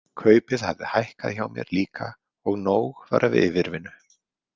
Kaupið hafði hækkað hjá mér líka og nóg var af yfirvinnu.